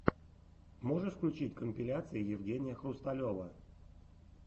можешь включить компиляции евгения хрусталева